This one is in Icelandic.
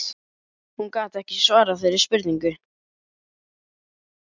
Hún gat ekki svarað þeirri spurningu.